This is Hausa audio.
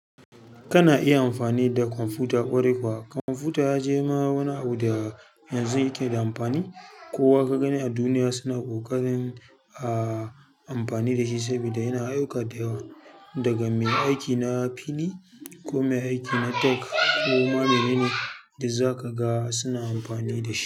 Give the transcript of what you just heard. Kana iya amfani da kwamfuta? Ƙwarai kuwa. Kwamfuta ya je ma wani abu da yanzu yake da amfani. Ko wa kaga ni a duniya suna ƙoƙarin amfani da shi sabida yana ayyuka dayawa. Daga mai aiki na fili ko mai aiki na tok ko ma mene ne da za ka ga suna amfani da shi.